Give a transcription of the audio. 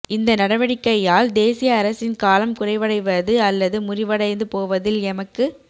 இந்த நடவடிக்கையால் தேசிய அரசின் காலம் குறைவடைவது அல்லது முறிவடைந்து போவதில் எமக்கு